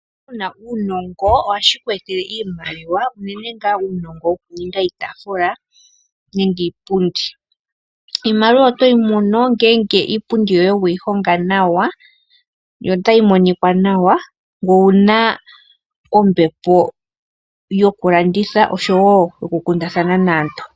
Uuna wu na uunongo ohashi ku etele iimaliwa unene ngaa uunongo wokuninga iitaafula nenge iipundi. Iimaliwa oto yi mono ngele iipundi yoye we yi honga nawa yo otayi monika nawa, ngoye owu na ombepo yokulanditha nosho wo yokukundathana naantu.